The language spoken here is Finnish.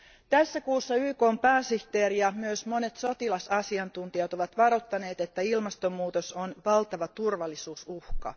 Tässä kuussa YKn pääsihteeri ja myös monet sotilasasiantuntijat ovat varoittaneet, että ilmastonmuutos on valtava turvallisuusuhka.